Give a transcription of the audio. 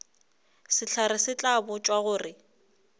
sehlare se tla botšwa gore